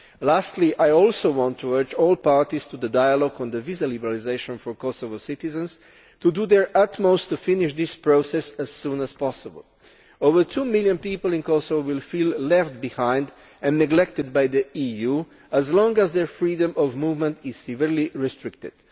Lastly, I want to urge all parties to the dialogue on visa liberalisation for Kosovo's citizens to do their utmost to finish this process as soon as possible. Over two million people in Kosovo will feel left behind and neglected by the EU as long as their freedom of movement is severely restricted.